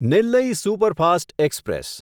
Nellai superfast express